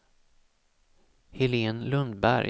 Helen Lundberg